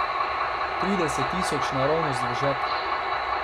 Trideset tisoč naravnost v žep.